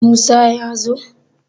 Musa ya zo?